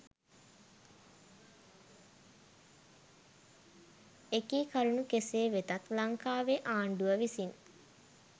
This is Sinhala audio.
එකී කරුණු කෙසේ වෙතත් ලංකාවේ ආණ්ඩුව විසින්